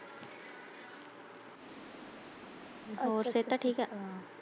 ਹੋਰ ਸਿਹਤ ਠੀਕ ਹੈ?